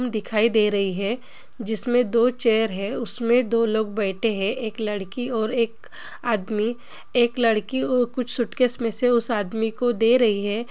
दिखाई दे रही है जिसमे दो चेयर है उसमे दो लोग बैठे है एक लड़की और एक आदमी एक लड़की उ कुछ सूटकेस मे से उस आदमी को दे रही है।